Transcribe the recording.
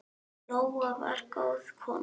Lóa var góð kona.